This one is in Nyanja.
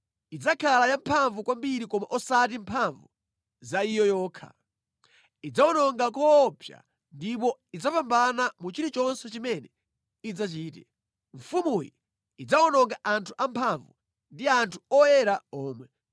Idzakhala yamphamvu kwambiri koma osati mphamvu za iyo yokha. Idzawononga koopsa ndipo idzapambana mu chilichonse chimene idzachite. Mfumuyi idzawononga anthu amphamvu ndi anthu oyera omwe.